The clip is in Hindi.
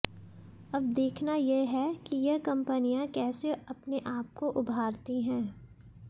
अब देखना यह है कि यह कंपनियां कैसे अपने आपको उभारती हैं